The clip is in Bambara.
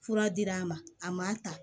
Fura dir'a ma a ma ta